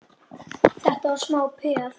Þetta var smá peð!